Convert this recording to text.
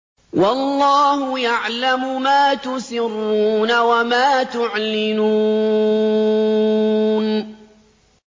وَاللَّهُ يَعْلَمُ مَا تُسِرُّونَ وَمَا تُعْلِنُونَ